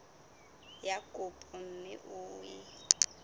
ya kopo mme o e